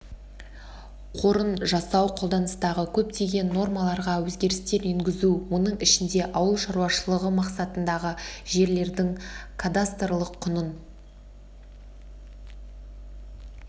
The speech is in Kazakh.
қорын жасау қолданыстағы көптеген нормаларға өзгерістер енгізу оның ішінде ауыл шаруашылығы мақсатындағы жерлердің кадастрлық құнын